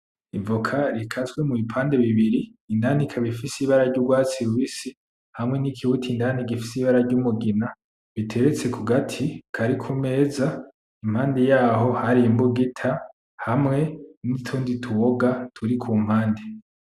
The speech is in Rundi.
Ivocat rikase mu bipande bibiri, indani rikaba ifise ibara ry'urwatsi rubisi, hamwe ni kibuto indani gifise ibara ry'umugina. Biteretse ku gati kari kumeza, impande yaho hari imbugita hamwe n'utundi tuboga turi kumpande.